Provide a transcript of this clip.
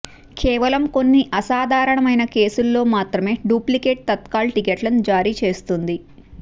కేవలం కొన్ని అసాధారణమైన కేసుల్లో మాత్రమే డూప్లికేట్ తత్కాల్ టికెట్లను జారీ చేస్తుంది